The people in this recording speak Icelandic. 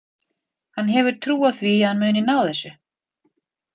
Hann hefur trú á því að hann muni ná þessu.